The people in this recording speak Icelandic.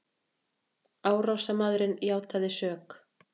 Árásarmaðurinn játaði sök